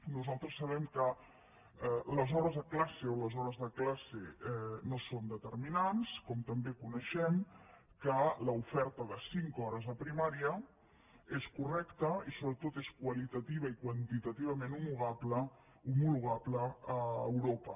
nosaltres sabem que les hores de classe no són determinants com també coneixem que l’oferta de cinc hores a primària és correcta i sobretot és qualitativament i quantitativament homologable a europa